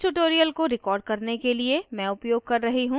इस tutorial को record करने के लिए मैं उपयोग कर रही हूँ